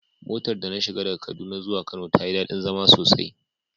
Motar da na shiga daga kaduna zuwa kano tayi dadi zama sosai.